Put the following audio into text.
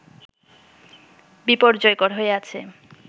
বিপর্যয়কর হয়ে আছে